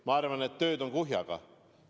Ma arvan, et tööd on kuhjaga.